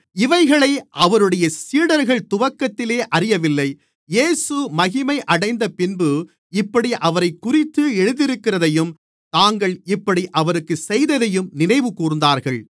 இவைகளை அவருடைய சீடர்கள் துவக்கத்திலே அறியவில்லை இயேசு மகிமையடைந்தபின்பு இப்படி அவரைக்குறித்து எழுதியிருக்கிறதையும் தாங்கள் இப்படி அவருக்குச் செய்ததையும் நினைவுகூர்ந்தார்கள்